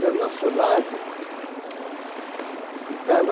Do nosso lado,